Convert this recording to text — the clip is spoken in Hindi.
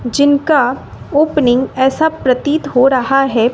जिनका ओपनिंग ऐसा प्रतीत हो रहा है।